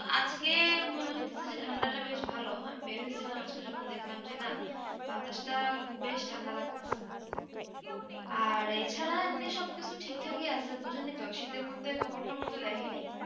আজকে মনে হইতেছে যে ঠান্ডা টা বেশ ভালো আমি বের হয়ে ছিলাম আজকে যখন দেখলাম যে না বাতাস টা বেশ ঠান্ডা লাগতেছে আর এই ছাড়া এমনি সব কিছু ঠিক থাক ই আছে বুঝেনি তো শীতের মধ্যে খবর টবর তো দেখি নি